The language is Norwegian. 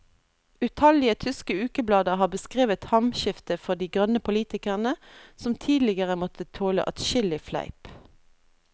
Utallige tyske ukeblader har beskrevet hamskiftet for de grønne politikerne, som tidligere måtte tåle adskillig fleip.